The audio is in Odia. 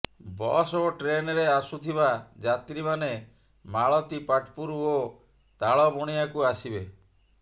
ବସ୍ ଓ ଟ୍ରେନ୍ରେ ଆସୁଥିବା ଯାତ୍ରୀମାନେ ମାଳତୀପାଟପୁର ଓ ତାଳବଣିଆକୁ ଆସିବେ